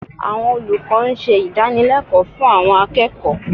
Àwọn olùkọ́ ń ṣe ìdànilẹ́kọ̀ọ́ fún àwọn akẹ́kọ̀ọ́